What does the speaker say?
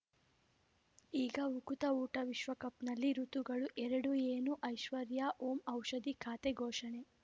ಈಗ ಉಕುತ ಊಟ ವಿಶ್ವಕಪ್‌ನಲ್ಲಿ ಋತುಗಳು ಎರಡು ಏನು ಐಶ್ವರ್ಯಾ ಓಂ ಔಷಧಿ ಖಾತೆ ಘೋಷಣೆ